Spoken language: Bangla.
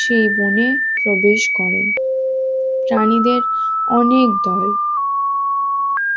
সেই বনে প্রবেশ করেন প্রাণীদের অনেক দল